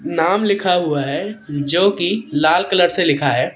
नाम लिखा हुआ है जो की लाल कलर से लिखा है।